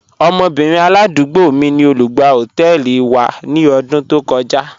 Ọmọbìnrin aládúgbò mí ni olùgbà họtẹẹlì wa ni ọdún tó kọja..